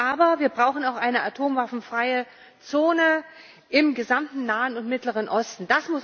Aber wir brauchen auch eine atomwaffenfreie Zone im gesamten Nahen und Mittleren Osten.